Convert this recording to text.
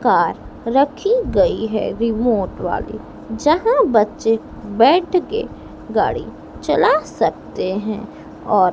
Car रखी गई है रिमोट वाली। जहां बच्चे बैठ के गाड़ी चला सकते हैं और--